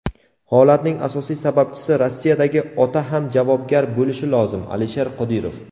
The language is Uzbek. Holatning asosiy sababchisi - Rossiyadagi ota ham javobgar bo‘lishi lozim – Alisher Qodirov.